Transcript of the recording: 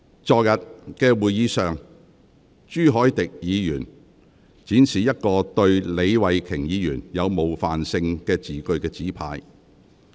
在昨天的會議上，朱凱廸議員展示一個寫有對李慧琼議員具冒犯性字句的紙牌。